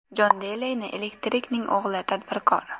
Jon Deleyni Elektrikning o‘g‘li, tadbirkor.